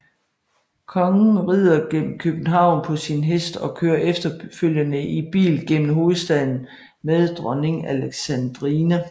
Kongen rider gennem København på sin hest og kører efterfølgende i bil gennem hovedstaden med Dronning Alexandrine